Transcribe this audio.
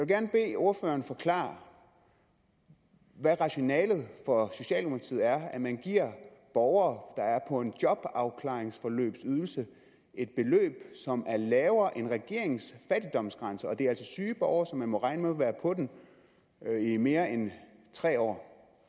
gerne bede ordføreren forklare hvad rationalet for socialdemokratiet er når man giver borgere der er på en jobafklaringsforløbsydelse et beløb som er lavere end regeringens fattigdomsgrænse og det er altså syge borgere som man må regne være på den i mere end tre år